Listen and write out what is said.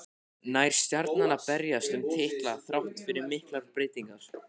Nær Stjarnan að berjast um titla þrátt fyrir miklar breytingar?